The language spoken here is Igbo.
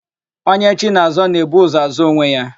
Onye chi na-azọ, na-ebu ụzọ azọ onwe ya.